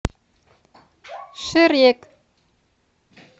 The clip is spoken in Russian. шрек